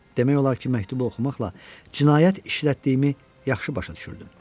Demək olar ki, məktubu oxumaqla cinayət işlətdiyimi yaxşı başa düşürdüm.